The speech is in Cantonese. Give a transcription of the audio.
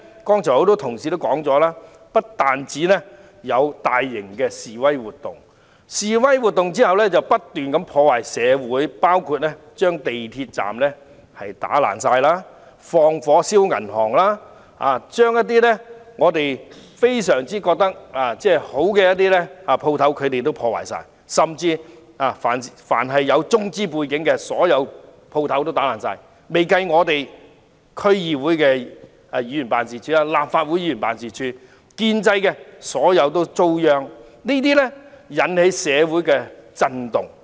多位同事剛才已提及，除大型示威活動外，社會亦不斷遭受破壞，包括示威人士損毀港鐵站設施及縱火焚燒銀行，而一些我們認為非常好的店鋪亦統統遭受破壞，甚至但凡有中資背景的店鋪都遭人破壞，尚未包括區議會議員和立法會議員的辦事處，所有建制派議員都遭殃，引起社會震動。